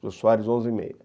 Jô Soares e Meio.